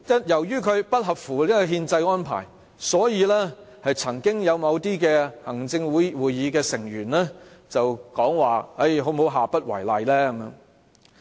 由於它不合乎憲制安排，所以曾經有某行政會議成員建議下不為例。